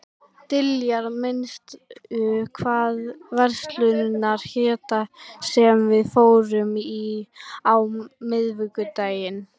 Diljar, manstu hvað verslunin hét sem við fórum í á miðvikudaginn?